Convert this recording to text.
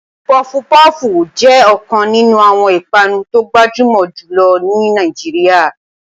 Puff puff jẹ́ ọ̀kan nínú àwọn ìpanu tó gbajúmọ̀ jù lọ ní Nàìjíríà.